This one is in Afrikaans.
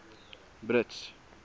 brits